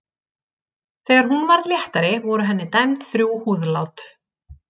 Þegar hún varð léttari voru henni dæmd þrjú húðlát.